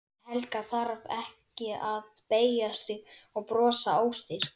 En Helga þarf ekki að beygja sig og brosa óstyrk.